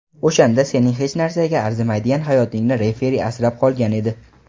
o‘shanda sening hech narsaga arzimaydigan hayotingni referi asrab qolgan edi.